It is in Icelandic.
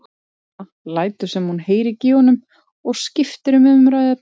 Amma lætur sem hún heyri ekki í honum og skiptir um umræðuefni.